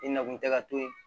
I na kun tɛ ka to ye